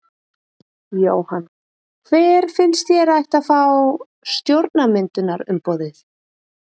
Jóhann: Hver finnst þér að ætti að fá stjórnarmyndunarumboðið?